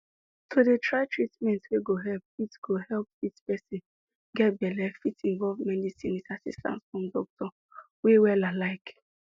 to dey try treatment wey go help fit go help fit help person get belle fit involve medicin with assistance from doctor wey wella like